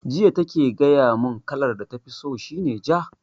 Jiya take gaya mun kalar da tafi so shi ne ja